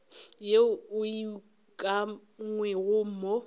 yeo e ukangwego mo go